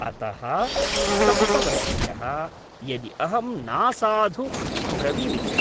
अतः, सप्तवर्षीयः, यदि अहं नासाधु ब्रवीमि चेत्।